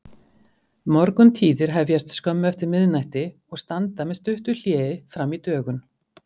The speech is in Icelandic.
Morguntíðir hefjast skömmu eftir miðnætti og standa með stuttu hléi frammí dögun.